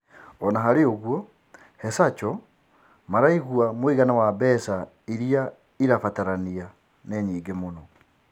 Ona-harĩoũguo he-Zacho, maraigua mũigana wa mbeca iria irabatarania nĩ nyĩngĩ mũno.